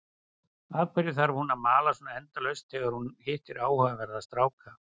Af hverju þarf hún að mala svona endalaust þegar hún hittir áhugaverða stráka?